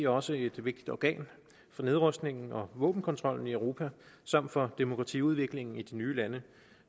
også et vigtigt organ for nedrustningen og våbenkontrollen i europa samt for demokratiudviklingen i de nye lande